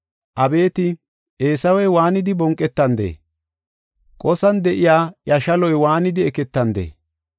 Abeeti Eesawey waanidi bonqetandee? Qosan de7iya iya shaloy waanidi eketandee?